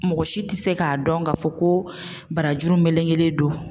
Mɔgɔ si tɛ se k'a dɔn k'a fɔ ko barajuru melekelen don.